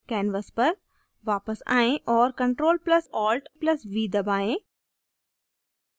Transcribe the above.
canvas पर वापस आएं और ctrl + alt + v दबाएं